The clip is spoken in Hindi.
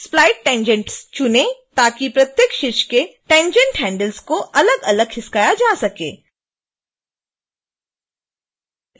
split tangents चुनें ताकि प्रत्येक शीर्ष के tangent handles को अलगअलग खिसकाया जा सके